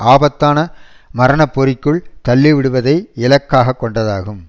ஆபத்தான மரணப்பொறிக்குள் தள்ளிவிடுவதை இலக்காக கொண்டதாகும்